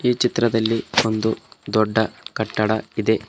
ಈ ಚಿತ್ರದಲ್ಲಿ ಒಂದು ದೊಡ್ಡ ಕಟ್ಟಡ ಇದೆ.